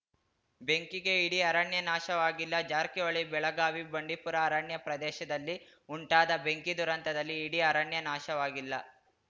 ಬೆಂಕಿಗೆ ಇಡೀ ಅರಣ್ಯ ನಾಶವಾಗಿಲ್ಲ ಜಾರಕಿಹೊಳಿ ಬೆಳಗಾವಿ ಬಂಡಿಪುರ ಅರಣ್ಯ ಪ್ರದೇಶದಲ್ಲಿ ಉಂಟಾದ ಬೆಂಕಿ ದುರಂತದಲ್ಲಿ ಇಡೀ ಅರಣ್ಯ ನಾಶವಾಗಿಲ್ಲ